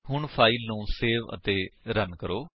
ਹੁਣ ਫਾਇਲ ਨੂੰ ਸੇਵ ਅਤੇ ਰਨ ਕਰੋ